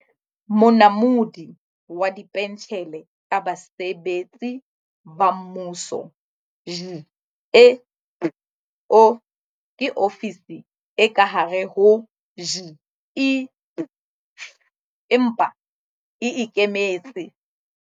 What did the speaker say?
Monamodi wa Dipentjhele tsa Basebetsi ba Mmuso, GEPO, ke ofisi e ka hare ho GEPF, empa e e ikemetse.